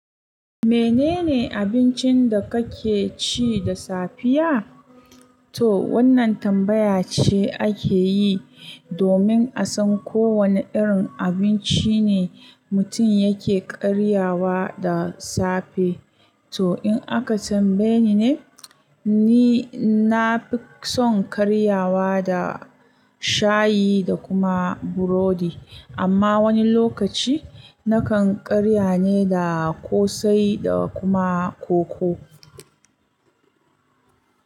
Menene abincin da kake ci da safiya? To wannan tambaya ce ake yi domin a san ko wane irin abinci ne mutum yake karyawa da safe. To in aka tambaye ni ne, ni na fi son karyawa da shayi da kuma burodi, amma wani lokaci na kan karya ne da ƙosai da kuma koko.